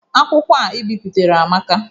Akwụkwọ a ị bipụtara amaka.